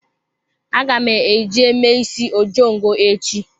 Aga m eje mee isi ojongo echi.